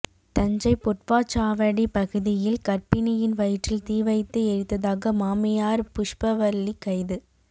தஞ்சை பொட்வாச்சாவடி பகுதியில் கர்ப்பிணியின் வயிற்றில் தீவைத்து எரித்ததாக மாமியார் புஷ்பவல்லி கைது